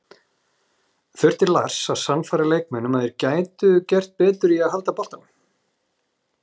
Þurfti Lars að sannfæra leikmenn um að þeir gætu gert betur í að halda boltanum?